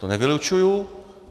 To nevylučuji.